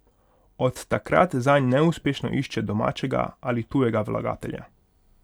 Od takrat zanj neuspešno išče domačega ali tujega vlagatelja.